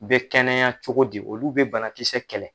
U bɛ kɛnɛya cogo di olu bɛ banakisɛ kɛlɛ.